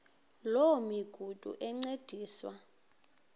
loo migudu encediswa